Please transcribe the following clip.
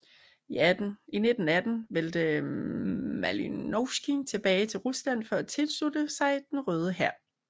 I 1918 vendte Malinovskij tilbage til Rusland for at tilslutte sig Den Røde Hær